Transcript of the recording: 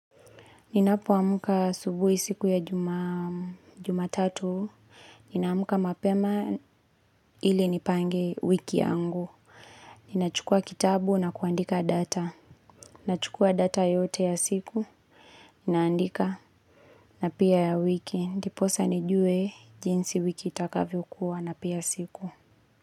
Ninapoamka asubuhi siku ya jumatatu, ninamka mapema ili nipange wiki yangu. Ninachukua kitabu na kuandika data. Ninachukua data yote ya siku, naandika na pia ya wiki. Ndiposa nijue jinsi wiki itakavyokuwa na pia siku.